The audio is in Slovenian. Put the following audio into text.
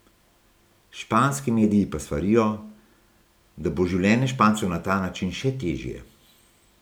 Španski mediji pa svarijo, da bo življenje Špancev na ta način še težje.